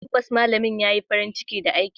Tabbas malamin ya yi farin ciki da aikinmu.